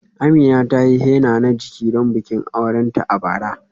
Amina ta yi henna na jiki don bikin aurenta a bara.